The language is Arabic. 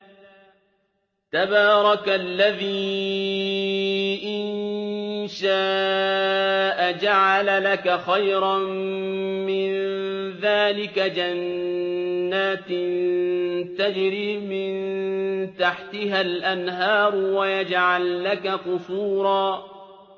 تَبَارَكَ الَّذِي إِن شَاءَ جَعَلَ لَكَ خَيْرًا مِّن ذَٰلِكَ جَنَّاتٍ تَجْرِي مِن تَحْتِهَا الْأَنْهَارُ وَيَجْعَل لَّكَ قُصُورًا